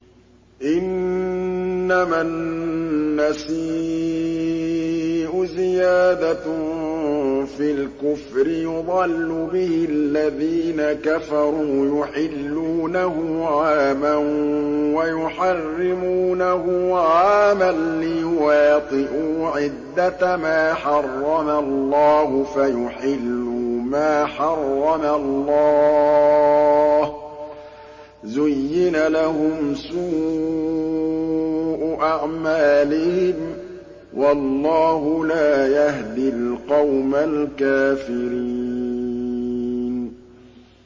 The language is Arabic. إِنَّمَا النَّسِيءُ زِيَادَةٌ فِي الْكُفْرِ ۖ يُضَلُّ بِهِ الَّذِينَ كَفَرُوا يُحِلُّونَهُ عَامًا وَيُحَرِّمُونَهُ عَامًا لِّيُوَاطِئُوا عِدَّةَ مَا حَرَّمَ اللَّهُ فَيُحِلُّوا مَا حَرَّمَ اللَّهُ ۚ زُيِّنَ لَهُمْ سُوءُ أَعْمَالِهِمْ ۗ وَاللَّهُ لَا يَهْدِي الْقَوْمَ الْكَافِرِينَ